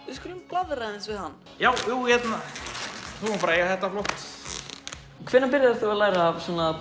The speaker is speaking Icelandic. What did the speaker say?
við skulum blaðra aðeins við hann já þú mátt eiga þetta flott hvenær byrjaðir þú að læra